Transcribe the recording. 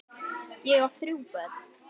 Ég á þrjú börn.